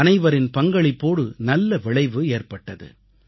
அனைவரின் பங்களிப்போடு நல்ல விளைவு ஏற்பட்டது